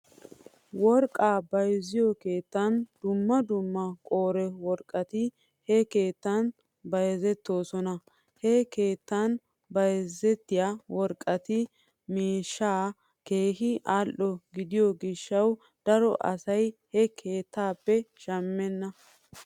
Worqqaa bayzziyoo keettan dumma dumma qoore worqqati he keettan bayzettoosona. He keettan bayzettiyaa worqqati miishshaa keehi al'o gidiyoo gishaw daro asay he keettaappe shamena.